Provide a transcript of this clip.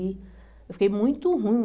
Eu fiquei muito ruim.